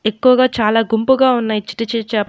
ఎక్కువగా చాలా గుంపుగా ఉన్నాయ్ చిట్టి చిట్టి చే--